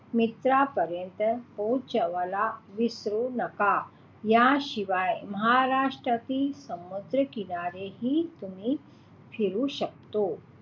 मित्रांपर्यंत पोहोचवायला विसरू नका. या शिवाय महाराष्ट्रातील समुद्रकिनारे हि तुम्ही फिरू शकता,